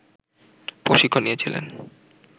প্রশিক্ষণ নিয়েছিলেন